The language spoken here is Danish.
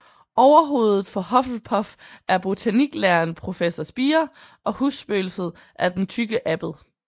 Overhovedet for Hufflepuff er botaniklæreren Professor Spire og husspøgelset er Den Tykke Abbed